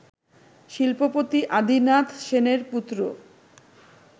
শিল্পপতি আদিনাথ সেনের পুত্র